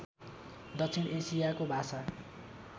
दक्षिण एसियाको भाषा